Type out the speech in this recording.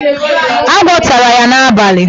Agwọ tara ya n'abalị.